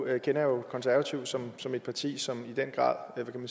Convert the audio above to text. jeg jo konservative som som et parti som i den grad